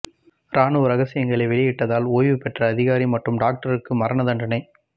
ராணுவ ரகசியங்களை வெளியிட்டதால் ஓய்வு பெற்ற அதிகாரி மற்றும் டாக்டருக்கு மரண தண்டனை